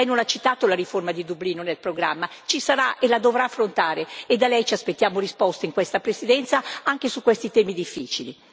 Lei non ha citato la riforma di Dublino nel programma questa riforma ci sarà e la dovrà affrontare e da lei ci aspettiamo risposte in questa Presidenza anche su questi temi difficili.